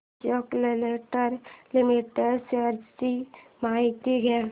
Ashok Leyland limited shares ची माहिती द्या